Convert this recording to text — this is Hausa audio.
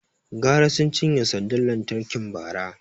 Gara sun cinye sandar lantarki Bara